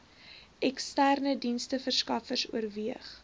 eksterne diensteverskaffers oorweeg